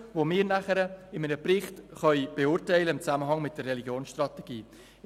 Diese könnten wir nachher in einem Bericht im Zusammenhang mit der Religionsstrategie beurteilen.